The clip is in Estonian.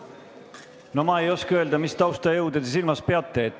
No ma ei oska öelda, mis taustajõudude te silmas peate.